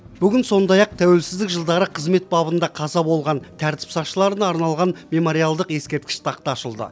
бүгін сондай ақ тәуелсзідік жылдары қызмет бабында қаза болған тәртіп сақшыларына арналған мемориалдық ескерткіш тақта ашылды